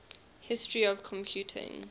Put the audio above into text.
history of computing